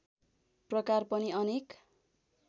प्रकार पनि अनेक